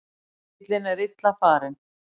Bíllinn er illa farinn.